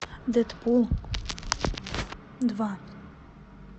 дэдпул два